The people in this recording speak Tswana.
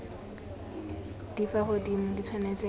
di fa godimo di tshwanetse